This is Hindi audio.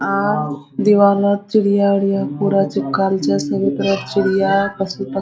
आ दीवाल लग चिड़िया उरिया पूरा चिपकाएल छै सभी तरफ चिड़या पशु प --